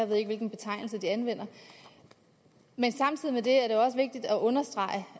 ved ikke hvilken betegnelse de anvender men samtidig med det er det også vigtigt at understrege